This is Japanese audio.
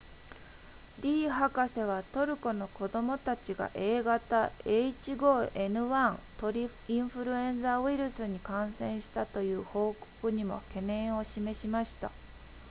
リー博士はトルコの子供たちが a 型 h5n1 鳥インフルエンザウイルスに感染したという報告にも懸念を示しました